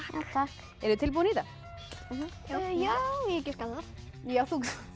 takk eruð þið tilbúin í þetta já ég giska á það þú